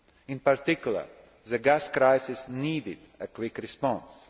In particular, the gas crises needed a quick response.